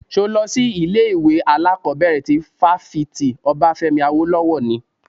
Ṣo lọ sí ilé ìwé alákọ̀bẹ̀rẹ̀ ti fáfitì Obafemi Awolowo ni?